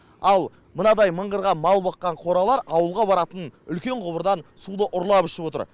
ал мынадай мыңғырған мал баққан қоралар ауылға баратын үлкен құбырдан суды ұрлап ішіп отыр